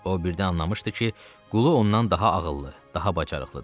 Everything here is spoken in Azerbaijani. O birdən anlamışdı ki, qulu ondan daha ağıllı, daha bacarıqlıdır.